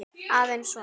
Aðeins svona.